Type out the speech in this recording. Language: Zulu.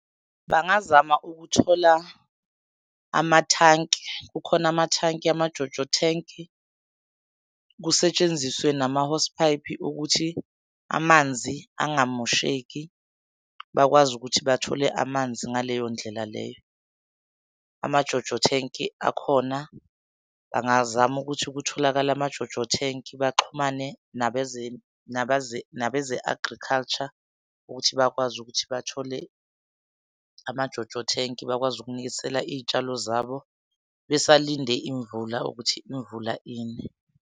Bangazama ukuthola amathanki, kukhona amathanki ama-JoJo tank. Kusetshenziswe nama-hosepipe ukuthi amanzi angamosheki, bakwazi ukuthi bathole amanzi ngaleyo ndlela leyo. Ama-JoJo tank akhona, bangazama ukuthi kutholakale ama-JoJo tank baxhumane nabeze-agriculture ukuthi bakwazi ukuthi bathole ama-JoJo tank bakwazi ukunisela iy'tshalo zabo besalinde imvula ukuthi imvula ine.